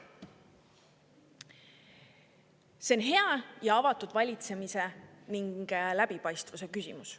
See on hea ja avatud valitsemise ning läbipaistvuse küsimus.